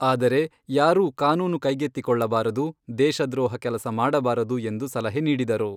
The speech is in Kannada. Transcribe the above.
ಆದರೆ, ಯಾರೂ ಕಾನೂನು ಕೈಗೆತ್ತಿಕೊಳ್ಳಬಾರದು, ದೇಶ ದ್ರೋಹ ಕೆಲಸ ಮಾಡಬಾರದು ಎಂದು ಸಲಹೆ ನೀಡಿದರು.